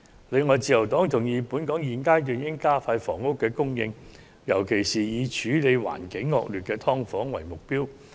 此外，自由黨同意本港在現階段應加快供應房屋的步伐，尤其是以處理環境惡劣的"劏房"為目標。